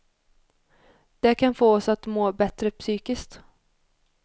Det kan få oss att må bättre psykiskt.